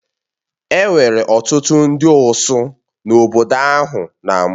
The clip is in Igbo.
Enwere ọtụtụ ndị osụ n'obodo ahụ na mbụ